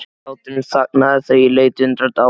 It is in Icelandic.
Hláturinn þagnaði þegar ég leit undrandi á hana.